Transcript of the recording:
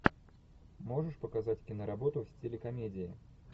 можешь показать киноработу в стиле комедии